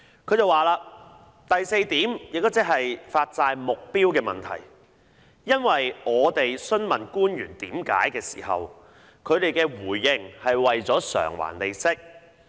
她表示："第四點，也是發債目標的問題......因為當我們詢問官員為何要成立債券基金時，他們的回應是為了償還利息。